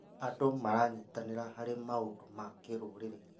Andũ maranyitanĩra harĩ maũndũ ma kĩrũrĩrĩ.